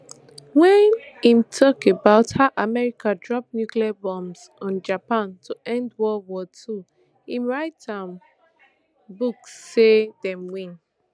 wen im tok about how america drop nuclear bombs on japan to end world war ii im write for im book say dem win